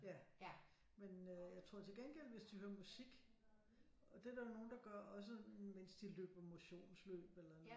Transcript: Ja men øh jeg tror til gengæld hvis de hører musik og det er der jo nogle der gør også mens de løber motionløb eller noget